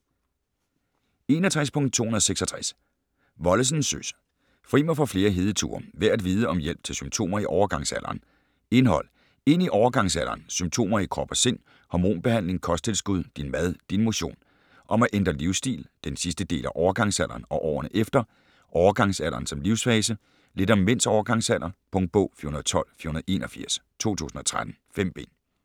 61.266 Wollesen, Søs: Fri mig for flere hedeture: værd at vide om hjælp til symptomer i overgangsalderen Indhold: Ind i overgangsalderen, Symptomer i krop og sind, Hormonbehandling, Kosttilskud, Din mad, Din motion, Om at ændre livsstil, Den sidste del af overgangsalderen og årene efter, Overgangsalderen som livssfase, Lidt om mænds overgangsalder. Punktbog 412481 2013. 5 bind.